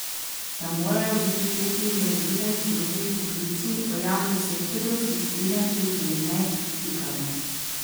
Da morajo biti te primerljive z drugimi poklici v javnem sektorju, se strinja tudi Jernej Pikalo.